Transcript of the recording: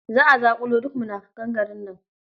Za a zaƙulo duk munafukan garin nan.